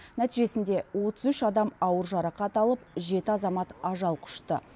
нәтижесінде отыз үш адам ауыр жарақат алып жеті азамат ажал құшты